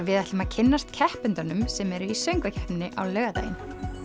við ætlum að kynnast keppendunum sem eru í söngvakeppninni á laugardaginn